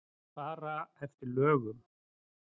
Að fara eftir lögum.